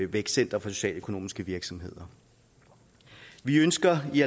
vækstcenter for socialøkonomiske virksomheder vi ønsker i